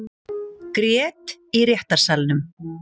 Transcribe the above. Grét í réttarsalnum